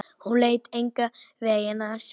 Hún leit engan veginn á sig.